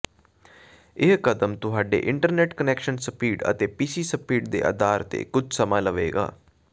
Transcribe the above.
ਇਹ ਕਦਮ ਤੁਹਾਡੇ ਇੰਟਰਨੈਟ ਕਨੈਕਸ਼ਨ ਸਪੀਡ ਅਤੇ ਪੀਸੀ ਸਪੀਡ ਦੇ ਆਧਾਰ ਤੇ ਕੁਝ ਸਮਾਂ ਲਵੇਗਾ